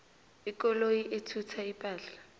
ikoloyi ethutha ipahla